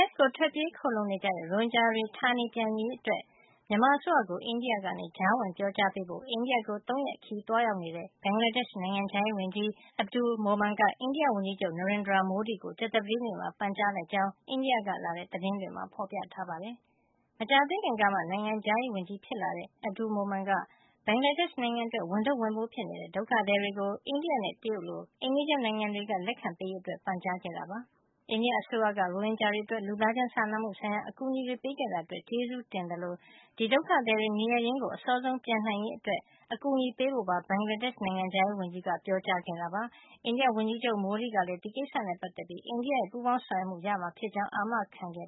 ှ်ကို ထွက်ပြေးခိုလှုံနေတဲ့ ရိုဟင်ဂျာတွေ ဌာနေပြန်ရေးအတွက် မြန်မာအစိုးရကို အိန္ဒိယက ကြားဝင်ပြောကြားပေးဖို့ အိန္ဒိယကို ၃ ရက်ခရီးသွားရောက်နေတဲ့ ဘင်္ဂလားဒေ့ရှ် နိုင်ငံခြားရေးဝန်ကြီး Abulkalam Abdul Momen က အိန္ဒိယဝန်ကြီးချုပ် Narendra Modi ကို ကြာသပတေးနေ့မှာ ပန်ကြားလိုက်ကြောင်း အိန္ဒိယကလာတဲ့ သတင်းတွေမှာ ဖေါ်ပြထားပါတယ်။ မကြာသေးခင်ကမှ နိုင်ငံခြားရေးဝန်ကြီးဖြစ်လာတဲ့ Abdul Momen က ဘင်္ဂလားဒေ့ရှ် နိုင်ငံအတွက် ဝန်ထုပ်ဝန်ပိုးဖြစ်နေတဲ့ ဒုက္ခသည်တွေကို အိန္ဒိယနဲ့ တရုတ်နိုင်ငံလို အိမ်နီးချင်းနိုင်ငံတွေက လက်ခံပေးရေး အတွက် ပန်ကြားခဲ့တာ ဖြစ်ပါတယ်။ အိန္ဒိယအစိုးရက ရိုဟင်ဂျာတွေ အတွက် လူသားချင်းစာနာမှု ဆိုင်ရာ အကူအညီတွေ ပေးခဲ့တာအတွက် ကျေးဇူးတင်သလိုပဲ ဒီဒုက္ခသည်တွေ နေရပ်ရင်းကို အစောဆုံး ပြန်နိုင်ရေးအတွက် အကူညီပေးဖို့ပါ ဘင်္ဂလားဒေ့ရှ်နိုင်ငံခြားရေးဝန်ကြီး က ပြောကြားခဲ့တာပါ။ အိန္ဒိယဝန်ကြီးချုပ် Modi ကလည်း ဒီကိစ္စနဲ့ ပတ်သက်ပြီး အိန္ဒိယရဲ့ ပူးပေါင်းဆောင်ရွက်မှု ရမှာ ဖြစ်ကြောင်းအာမခံခဲ့